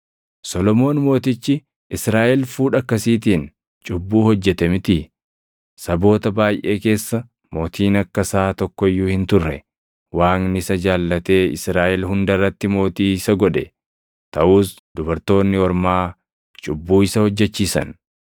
Solomoon mootichi Israaʼel fuudha akkasiitiin cubbuu hojjete mitii? Saboota baayʼee keessa mootiin akka isaa tokko iyyuu hin turre. Waaqni isa jaallatee Israaʼel hunda irratti mootii isa godhe; taʼus dubartoonni ormaa cubbuu isa hojjechiisan.